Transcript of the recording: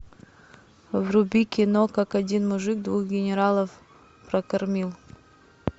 вруби кино как один мужик двух генералов прокормил